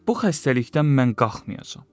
Bu xəstəlikdən mən qalxmayacağam.